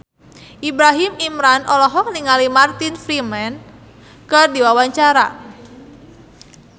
Ibrahim Imran olohok ningali Martin Freeman keur diwawancara